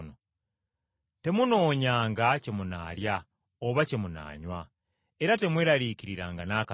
Temunoonyanga kye munaalya oba kye munaanywa, era temweraliikiriranga n’akatono.